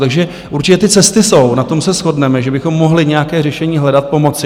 Takže určitě ty cesty jsou, na tom se shodneme, že bychom mohli nějaké řešení hledat, pomoci.